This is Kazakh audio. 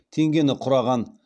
теңгені құраған